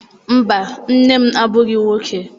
Mba, nne m abụghị nwoke.